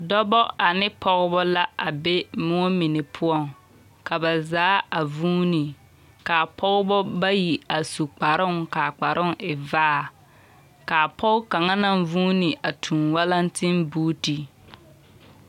Dɔbɔ ane pɔgebɔ la a be moɔ mine poɔŋ. Ka ba zaa a vuuni. Kaa pɔgebɔ bayi a su kparoŋ kaa kparoŋ e vaa. Kaa pɔge kaŋa naŋ vuuni a tuŋ walantenbuuti.